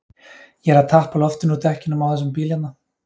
Ég er að tappa loftinu úr dekkjunum á þessum bíl hérna.